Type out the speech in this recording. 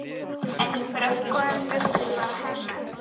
En í bröggunum bjuggu bara hermenn.